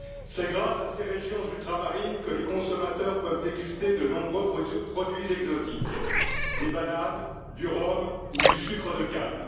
C'est grâce à ces régions ultramarines que les consommateurs peuvent déguster de nombreux produits exotiques des bananes, du rhum ou du sucre de canne.